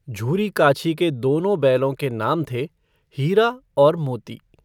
झूरी काछी के दोनो बैलो के नाम थे हीरा और मोती।